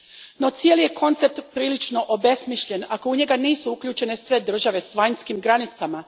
No, cijeli je koncept prilično obesmišljen ako u njega nisu uključene sve države s vanjskim granicama.